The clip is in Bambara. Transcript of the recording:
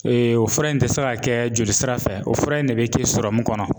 o fura in te se ka kɛ joli sira fɛ, o fura in de be kɛ kɔnɔ.